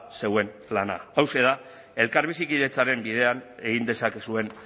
zuen plana hauxe da elkar bizikidetzaren bidean egin dezakezuen